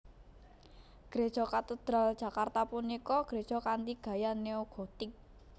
Gréja Katedral Jakarta punika gréja kanthi gaya neo gotik